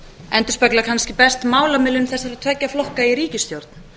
endurspegla kannski best málamiðlun þessara tveggja flokka í ríkisstjórn